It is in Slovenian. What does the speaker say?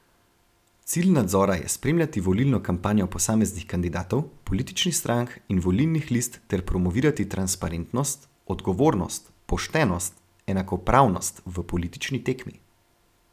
Cilj nadzora je spremljati volilno kampanjo posameznih kandidatov, političnih strank in volilnih list ter promovirati transparentnost, odgovornost, poštenost, enakopravnost v politični tekmi.